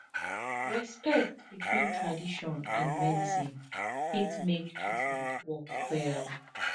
respect between tradition and medicine fit make treatment work well